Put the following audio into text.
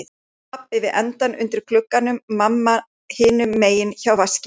Pabbi við endann undir glugganum, mamma hinum megin hjá vaskinum.